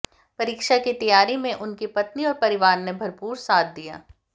परीक्षा की तैयारी में उनकी पत्नी और परिवार ने भरपूर साथ दिया